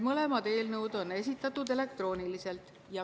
Mõlemad eelnõud on esitatud elektrooniliselt.